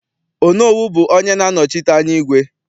Onowu bụ onye na-anọchite anya igwe.